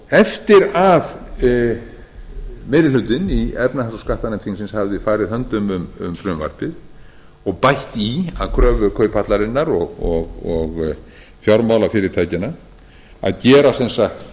eftir að meiri hlutinn í efnahags og skattanefnd þingsins hafði farið höndum um frumvarpið og bætt í að kröfu kauphallarinnar og fjármálafyrirtækjanna að gera sem sagt